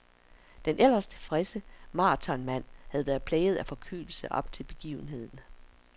Den ellers tilfredse maratonmand har været plaget af forkølelse op til begivenheden.